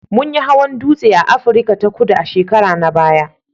Mun yi hawan dutse a Afirka ta Kudu a shekara na baya